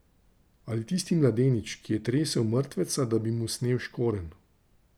Ali tisti mladenič, ki je tresel mrtveca, da bi mu snel škorenj?